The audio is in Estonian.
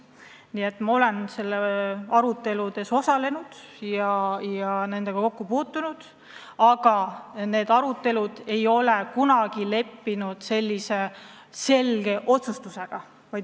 Nii et ma olen selle teema aruteludes osalenud, aga nendes aruteludes ei ole kunagi kokku lepitud selges otsuses.